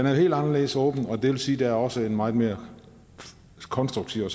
er helt anderledes åben og det vil sige at der også er en meget mere konstruktiv og